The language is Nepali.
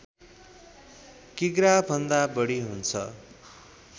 किग्रा भन्दा बढी हुन्छ